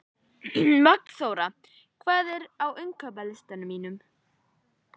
Magnþóra, hvað er á innkaupalistanum mínum?